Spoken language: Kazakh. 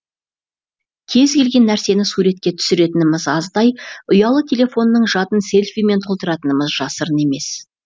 кез келген нәрсені суретке түсіретініміз аздай ұялы телефонның жадын селфимен толтыратынымыз жасырын емес